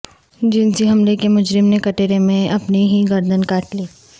جنسی حملے کے مجرم نے کٹہرے میں اپنی ہی گردن کاٹ لی